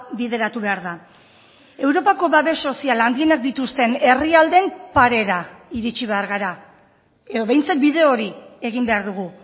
bideratu behar da europako babes soziala handienak dituzten herrialdeen parera iritsi behar gara edo behintzat bide hori egin behar dugu